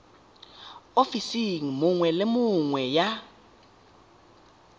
ofising nngwe le nngwe ya